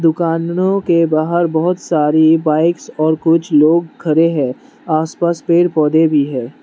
दुकाननों के बाहर बहोत सारी बाइक्स और कुछ लोग खड़े हैं आसपास पेड़ पौधे भी है।